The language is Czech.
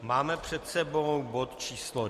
Máme před sebou bod číslo